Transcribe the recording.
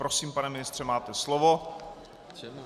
Prosím, pane ministře, máte slovo.